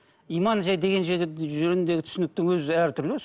иманжай деген жөніндегі түсініктің өзі әртүрлі өзі